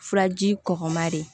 Furaji kɔkɔma de